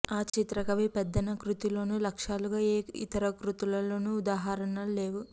ఆ చిత్రకవి పెద్దన కృతిలోనూ లక్ష్యాలుగా ఏ ఇతరకృతులలోని ఉదాహరణలూ లేవు